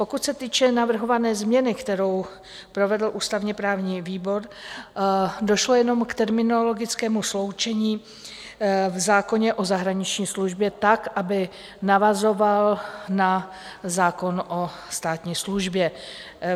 Pokud se týče navrhované změny, kterou provedl ústavně-právní výbor, došlo jenom k terminologickému sloučení v zákoně o zahraniční službě tak, aby navazoval na zákon o státní službě.